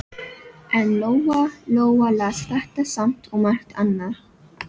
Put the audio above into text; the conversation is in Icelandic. En Lóa-Lóa las þetta samt og margt annað.